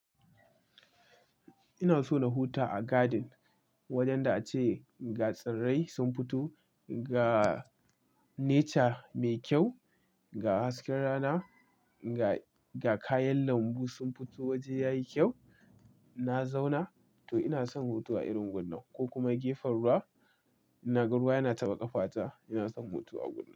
Ina so na huta a garden, wajen da a ce ga tsirrai sun fito, ga nature mai kyau, ga hasken rana, ga, ga kayan lambu sun fito waje yayi kyau. Na zauna, to ina son hutu a irin gunnan ko kuma gefen ruwa. Na ga ruwa yana taɓa ƙafata, ina son hutu a gunnan.